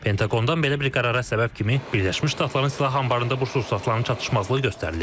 Pentaqondan belə bir qərara səbəb kimi Birləşmiş Ştatların silah anbarında bu sursatların çatışmazlığı göstərilib.